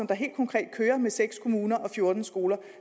der helt konkret kører med seks kommuner og fjorten skoler